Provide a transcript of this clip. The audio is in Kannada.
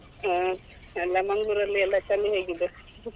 ಆ ಎಲ್ಲ Manglore ಲ್ಲಿ ಎಲ್ಲ ಚಳಿ ಹೇಗಿದೆ?